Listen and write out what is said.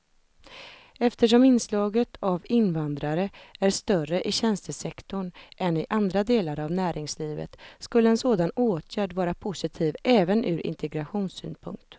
Eftersom inslaget av invandrare är större i tjänstesektorn än i andra delar av näringslivet skulle en sådan åtgärd vara positiv även ur integrationssynpunkt.